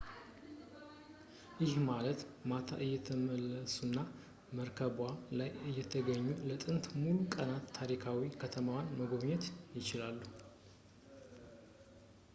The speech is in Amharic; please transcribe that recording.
ይህ ማለት ማታ እየተመለሱና መርከቧ ላይ እየተኙ ለጥንድ ሙሉ ቀናት ታሪካዊ ከተማዋን መጎብኘት ይችላሉ